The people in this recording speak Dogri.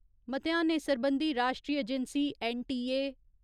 म्तेहानें सरबंधी राश्ट्री एजेंसी ऐन्न.टी.ए.